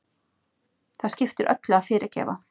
Það skiptir öllu að fyrirgefa.